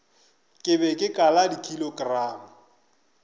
ke be ke kala dikilogramo